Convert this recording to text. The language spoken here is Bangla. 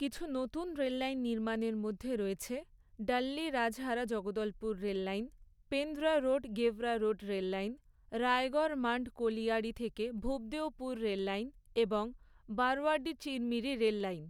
কিছু নতুন রেললাইন নির্মাণের মধ্যে রয়েছে Dalli Rajhara Jagdalpur rail line, Pendra road Gevra road rail line, Raigarh Mand colliery থেকে ভূপদেওপুর রেল লাইন, এবং বারওয়াডিহ চিরমিরি রেললাইন।